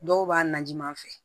Dɔw b'a najima fɛ